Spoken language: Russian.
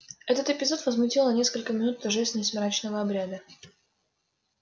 этот эпизод возмутил на несколько минут торжественность мрачного обряда